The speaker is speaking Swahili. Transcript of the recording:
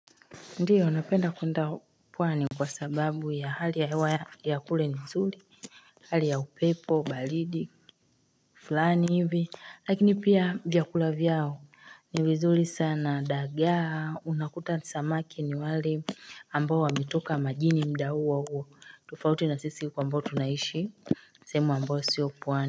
Ndio napenda kuenda pwani kwa sababu ya hali ya hewa ya kule ni nzuri hali ya upepo balidi fulani hivi lakini pia vyakula vyao ni vizuri sana dagaa unakuta samaki ni wali ambao wamitoka majini mda huo huo tufauti na sisi huku ambao tunaishi sehemu ambayo sio pwani.